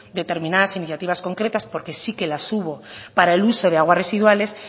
determinadas iniciativas concretas porque sí que las hubo para el uso de aguas residuales